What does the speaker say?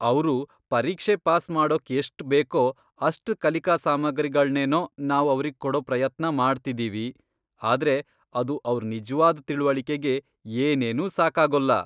ಅವ್ರು ಪರೀಕ್ಷೆ ಪಾಸ್ ಮಾಡೋಕ್ ಎಷ್ಟ್ ಬೇಕೋ ಅಷ್ಟ್ ಕಲಿಕಾ ಸಾಮಗ್ರಿಗಳ್ನೇನೋ ನಾವು ಅವ್ರಿಗ್ ಕೋಡೋ ಪ್ರಯತ್ನ ಮಾಡ್ತಿದೀವಿ. ಆದ್ರೆ ಅದು ಅವ್ರ್ ನಿಜ್ವಾದ್ ತಿಳಿವಳಿಕೆಗೆ ಏನೇನೂ ಸಾಕಾಗೋಲ್ಲ.